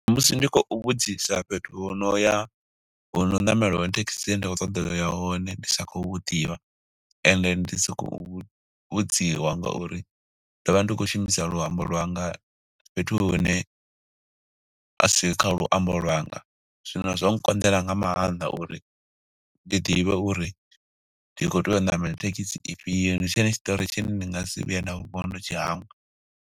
Musi ndi khou vhudzisa fhethu hu no ya, hu no ṋamela hone thekhisi dzi ne nda khou ṱoḓa uya hone. Ndi sa khou hu ḓivha, ende ndi si khou vhudziwa nga uri, ndo vha ndi khou shumisa luambo lwanga fhethu hune asi kha luambo lwanga. Zwino zwa nkonḓela nga maanḓa uri ndi ḓivhe uri, ndi khou tea u ṋamela thekhisi ifhio. Ndi tshone tshiṱori tshine ndi nga si vhuye nda vuwa ndo tshi hangwa.